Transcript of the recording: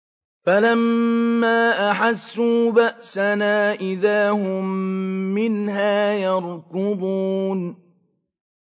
فَلَمَّا أَحَسُّوا بَأْسَنَا إِذَا هُم مِّنْهَا يَرْكُضُونَ